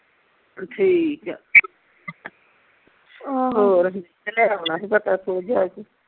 ਠੀਕ ਆ ਹੋਰ ਤੇ ਲੈ ਓਨਾ ਹੀ ਪਤਾ ਤੂੰ ਜਾ ਕੇ